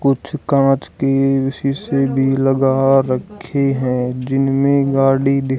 कुछ कांच के विशेष डी लगा रखे हैं जिनमें गाड़ी दि --